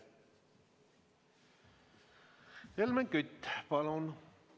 Helmen Kütt, palun!